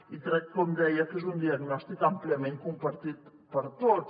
i crec com deia que és un diagnòstic àmpliament compartit per tots